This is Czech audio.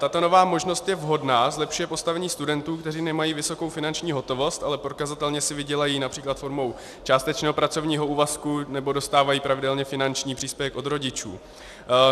Tato nová možnost je vhodná, zlepšuje postavení studentů, kteří nemají vysokou finanční hotovost, ale prokazatelně si vydělají například formou částečného pracovního úvazku nebo dostávají pravidelně finanční příspěvek od rodičů.